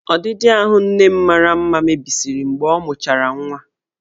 Ọdịdị ahụ nne m mara mma mebisiri mgbe ọ mụchara nwa.